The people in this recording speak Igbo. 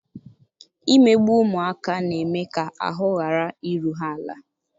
imegbu ụmụaka na-eme ka ahụ ghara iru ha ala.